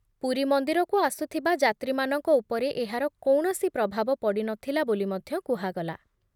ପୁରୀ ମନ୍ଦିରକୁ ଆସୁଥିବା ଯାତ୍ରୀମାନଙ୍କ ଉପରେ ଏହାର କୌଣସି ପ୍ରଭାବ ପଡ଼ି ନ ଥିଲା ବୋଲି ମଧ୍ୟ କୁହାଗଲା ।